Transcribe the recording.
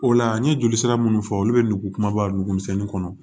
O la n ye joli sira minnu fɔ olu bɛ nugu kumaba nugu misɛnnin kɔnɔ